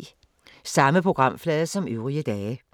Samme programflade som øvrige dage